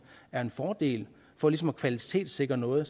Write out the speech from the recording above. er en fordel for ligesom at kvalitetssikre noget